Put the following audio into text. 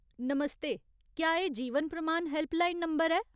नमस्ते ! क्या एह् जीवन प्रमाण हैल्पलाइन नंबर ऐ ?